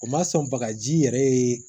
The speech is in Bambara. O ma sɔn bagaji yɛrɛ ye